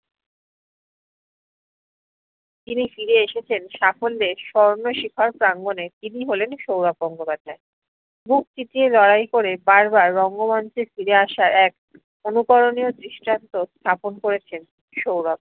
যিনি ফিরে এসেছেন সাফল্যের স্বর্ণশিখর প্রাঙ্গণে তিনি হলেন সৌরভ গঙ্গোপাধ্যায়।